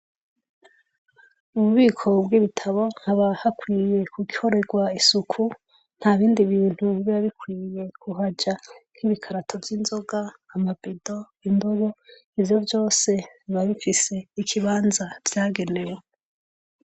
Mububiko bwibitabo haba hakwiye gukorerwa isuku ntabindi bintu biba bikwiye kuhaja nkibikarato vyinzoga amabido indobo ivyo vyose biba bifise ikibanza vyagenewe